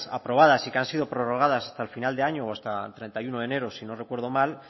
aprobadas y que han sido prorrogadas hasta el final de año o hasta el treinta y uno enero si no recuerdo mal